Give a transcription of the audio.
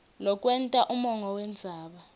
lokwenta umongo wendzaba